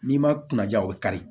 N'i ma kuna ja o bɛ kari